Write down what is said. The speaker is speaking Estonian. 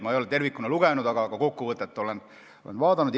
Ma ei ole seda tervikuna lugenud, aga kokkuvõtet olen vaadanud.